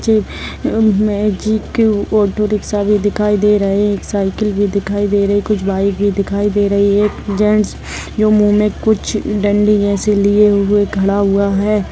एक auto rickshaw भी दिखाई दे रहे-एक साइकिल भी दिखाई दे रही। कुछ बाइक भी दिखाई दे रही है। जेन्ट्स जो मुह मे कुछ डंडी जैसी लिए हुए खड़ा हुआ है।